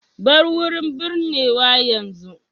Bar wurin binnewa yanzu.